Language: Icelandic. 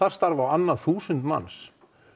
starfa á annað þúsund manns